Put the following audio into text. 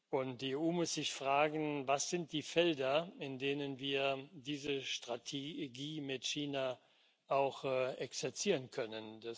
Und die EU muss sich fragen Was sind die Felder, in denen wir diese Strategie mit China auch exerzieren können?